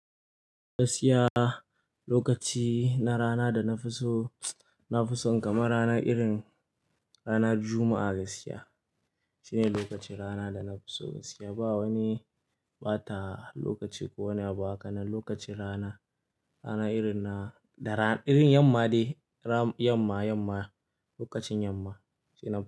Gaskiya lokaci na rana da na fi so, na fi so kama rana irin ranar Juma'a gaskiya. Shine lokacin rana da na fi so gaskiya. Ba wani ɓata lokaci ko wani abu haka na lokacin rana, rana irin na da ran irin yamma de ram yamma, yamma lokacin yamma shine.